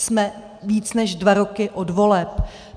Jsme víc než dva roky od voleb.